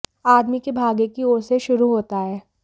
आदमी के भाग्य की ओर से शुरू होता है